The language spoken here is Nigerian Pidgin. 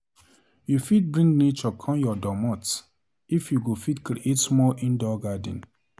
You fit just bring nature come your domot if you go fit create small indoor garden.